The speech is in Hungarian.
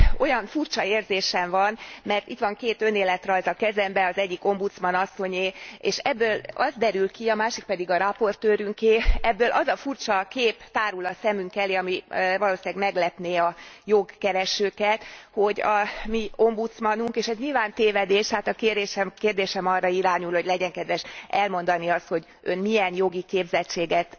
Olyan furcsa érzésem van, mert itt van két önéletrajz a kezemben, az egyik ombudsman asszonyé, és ebből az derül ki, a másik pedig a raportőrünké, ebből az a furcsa kép tárul a szemünk elé, ami valószínűleg meglepné a jogkeresőket, hogy a mi ombudsmanunk, és ez nyilván tévedés, tehát a kérésem, kérdésem arra irányul, hogy legyen kedves elmondani azt, hogy Ön milyen jogi képzettséget